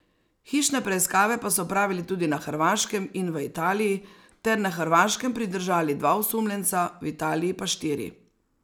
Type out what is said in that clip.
Hišne preiskave pa so opravili tudi na Hrvaškem in v Italiji ter na Hrvaškem pridržali dva osumljenca, v Italiji pa štiri.